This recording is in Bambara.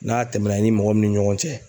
N'a tɛmɛna i ni mɔgɔ min ni ɲɔgɔn cɛ